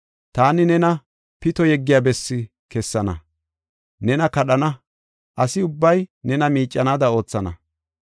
Taani nena pito yeggiya bessi kessana; nena kadhana; asi ubbay nena miiccanaada oothana.